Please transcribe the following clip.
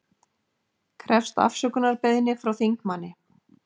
Krefst afsökunarbeiðni frá þingmanni